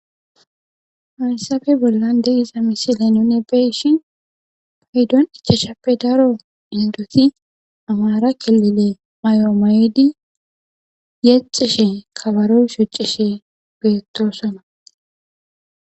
Haysape bollan de'iza missile nuni beyishi ichashape daro indoti amara killile mayoy mayidi yexishi kabaro shocise Betosona